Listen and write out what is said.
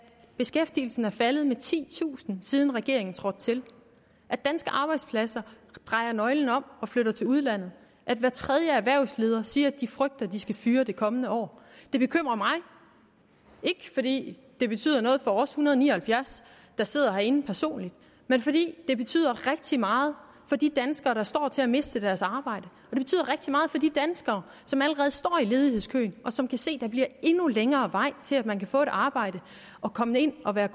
beskæftigelsen er faldet med titusind siden regeringen trådte til at danske arbejdspladser drejer nøglen om og flytter til udlandet at hver tredje erhvervsleder siger at de frygter de skal fyre det kommende år det bekymrer mig ikke fordi det betyder noget for os en hundrede og ni og halvfjerds der sidder herinde personligt men fordi det betyder rigtig meget for de danskere der står til at miste deres arbejde og de danskere som allerede står i ledighedskøen og som kan se at der bliver endnu længere vej til at man kan få et arbejde og komme ind og være